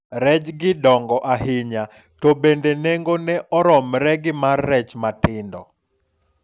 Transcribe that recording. rejgi dongo ahinya, to bende nengone romre gi mar rech matindo